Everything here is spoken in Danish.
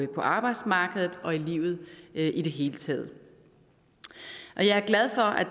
arbejdsmarkedet og i livet i det hele taget jeg glad for at